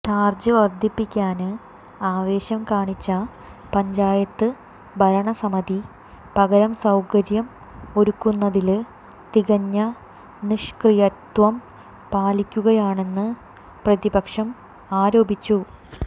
charge വര്ദ്ധിപ്പിക്കാന് ആവേശം കാണിച്ച പഞ്ചായത്ത് ഭരണസമിതി പകരം സൌകര്യം ഒരുക്കുന്നതില് തികഞ്ഞ നിഷ്ക്രിയത്വം പാലിക്കുകയാണെന്ന് പ്രതിപക്ഷം ആരോപിച്ചു